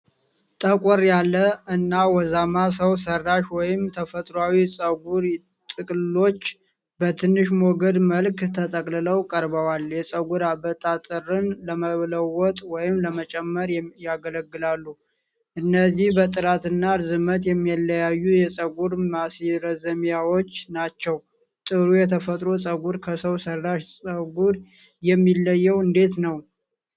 ጠቆር ያለ እና ወዛማ ሰው ሠራሽ ወይም ተፈጥሯዊ ፀጉር ጥቅልሎች በትንሽ ሞገድ መልክ ተጠቅልለው ቀርበዋል። የፀጉር አበጣጠርን ለመለወጥ ወይም ለመጨመር ያገለግላሉ። እነዚህ በጥራት እና ርዝመት የሚለያዩ የፀጉር ማስረዘሚያዎች ናቸው። ጥሩ የተፈጥሮ ፀጉር ከሰው ሠራሽ ፀጉር የሚለየው እንዴት ነው?